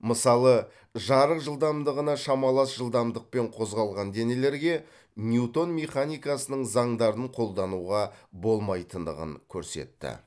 мысалы жарық жылдамдығына шамалас жылдамдықпен қозғалған денелерге ньютон механикасының заңдарын қолдануға болмайтындығын көрсетті